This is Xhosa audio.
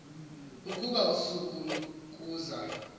ukuba usuku lokuza